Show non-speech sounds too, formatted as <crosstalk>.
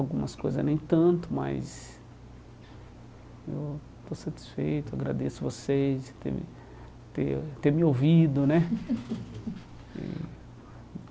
Algumas coisas nem tanto, mas eu estou satisfeito, agradeço vocês por terem por ter ter me ouvido, né? <laughs> E